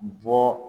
Bɔ